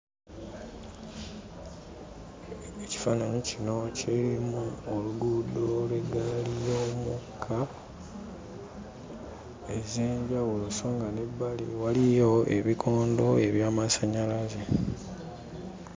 Ekifaananyi kino kirimu oluguudo lw'eggaali y'omukka ez'enjawulo so nga n'ebbali waliyo ebikondo eby'amasannyalaze.